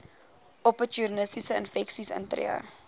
opportunistiese infeksies intree